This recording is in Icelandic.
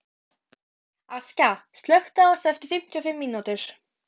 Askja, slökktu á þessu eftir fimmtíu og fimm mínútur.